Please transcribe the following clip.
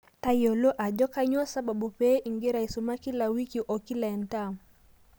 Tayiolo ajo kanyioo sababu pee ingira aisuma kila wiki okila entaam.